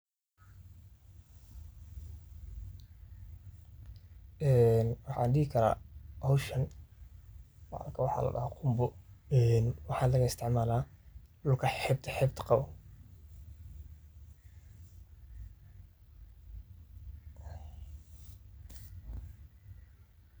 Ee waxan dihi karaa howshan qunbo, ee waxaa laga istimala xebta xebta qawo.